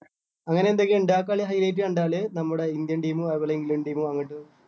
അങ്ങനെ എന്തൊക്കെയോ ഇണ്ട് ആ കളി high light കണ്ടാല് നമ്മുടെ indian team ഉം അതുപോലെ ഇംഗ്ലണ്ട് team ഉം അങ്ങട്ട്